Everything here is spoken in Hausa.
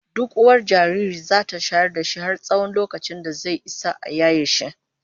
Duk uwar jariri zata shayar da shi har tsawon lokacin da zai Isa a yaye shi